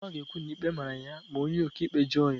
Chioma ga-ekwu na ikpe mara ya ma onye ọkaikpe jụọ ya.